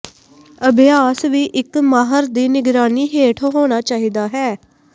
ਅਭਿਆਸ ਵੀ ਇੱਕ ਮਾਹਰ ਦੀ ਨਿਗਰਾਨੀ ਹੇਠ ਹੋਣਾ ਚਾਹੀਦਾ ਹੈ